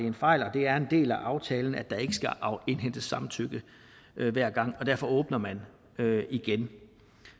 en fejl at det er en del af aftalen at der ikke skal indhentes samtykke hver gang og derfor åbner man igen